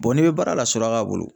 n'i bɛ baara la suraka bolo.